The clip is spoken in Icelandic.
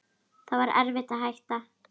Það var erfitt að hætta.